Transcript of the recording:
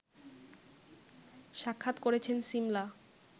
সাক্ষাৎ করেছেন সিমলা